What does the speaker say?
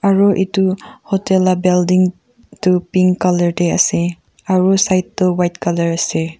aru itu hotel la balding tu pink colour teh ase aru side tu white colour ase.